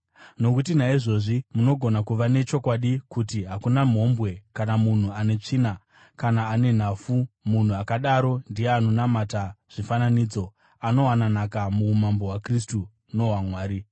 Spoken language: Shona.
Nokuti naizvozvi munogona kuva nechokwadi kuti: Hakuna mhombwe, kana munhu ane tsvina kana ane nhafu, munhu akadaro ndiye anonamata zvifananidzo, anowana nhaka muumambo hwaKristu nohwaMwari.